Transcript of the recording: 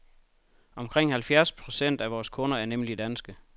Omkring halvfjerds procent af vores kunder er nemlig danske.